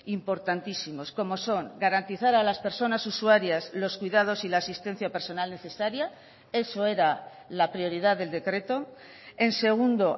importantísimos como son garantizar a las personas usuarias los cuidados y la asistencia personal necesaria eso era la prioridad del decreto en segundo